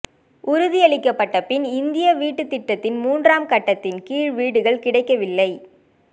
உறுதியளிக்கப்பட்ட பின்பும் இந்திய வீட்டுத் திட்டத்தின் மூன்றாம் கட்டத்தில் கீழ் வீடுகள் கிடைக்கவில்லை